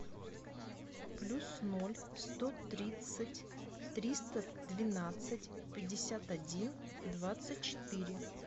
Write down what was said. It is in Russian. плюс ноль сто тридцать триста двенадцать пятьдесят один двадцать четыре